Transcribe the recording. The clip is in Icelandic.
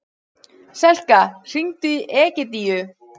Selka, hringdu í Egidíu.